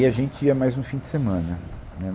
E a gente ia mais no fim de semana. Né